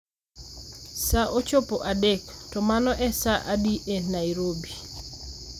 Sa ochopo adek, to mano e sa adi e Nairobi